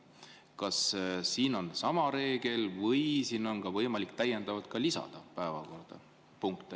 Kas siin on sama reegel või siin on võimalik päevakorrapunkte ka lisada?